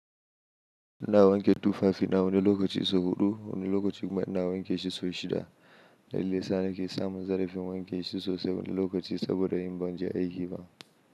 Ina wanke tufafi na wani lokaci sau huɗu, wani lokaci ma nawa wanke shi sau shida. Dalilin da yasa ne ke samun zarafin wanke shi sau saba da yin ban ji da aikin.